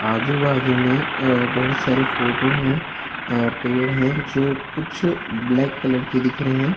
आजू बाजू में अ बहोत सारे फोटो हैं अ पेड़ हैं जो कुछ ब्लैक कलर के दिख रहे हैं।